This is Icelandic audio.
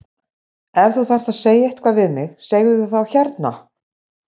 Ef þú þarft að segja eitthvað við mig segðu það þá hérna!